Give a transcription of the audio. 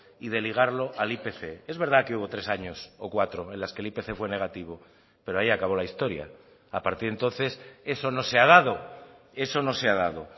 y de ligarlo al ipc es verdad que hubo tres años o cuatro en las que el ipc fue negativo pero ahí acabó la historia a partir de entonces eso no se ha dado eso no se ha dado